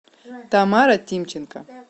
тамара тимченко